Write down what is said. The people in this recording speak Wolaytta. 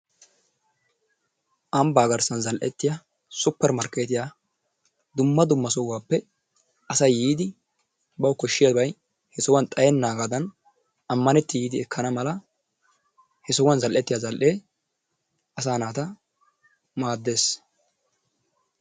Ambbaa garssan zal"ettiya suppermarkketiyaa dumma dumma sohuwappe asay yiidi bawu koshshiyaabay he sohuwan xayyenaagadan ammanetti yiidi ekkana mala he sohuwan zal"ettiya zal"e asaa naata maaddees.